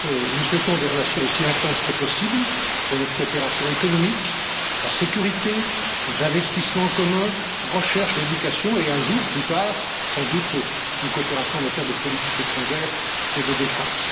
Nous souhaitons des relations aussi intenses que possible pour notre coopération économique, la sécurité, nos investissements communs, la recherche, l'éducation et un jour, plus tard, sans doute une coopération en matière de politique étrangère et de défense.